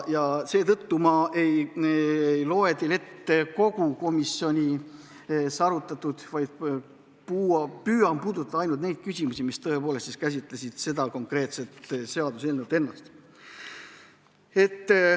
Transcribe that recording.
Seetõttu ma ei loe teile ette kogu komisjonis arutatut, vaid püüan puudutada ainult neid küsimusi, mis käsitlesid konkreetset seaduseelnõu ennast.